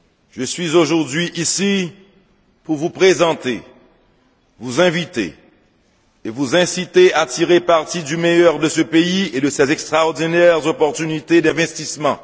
Je suis aujourd'hui ici pour vous présenter, vous inviter, et vous inciter à tirer parti du meilleur de ce pays et de ses extraordinaires opportunités d'investissement.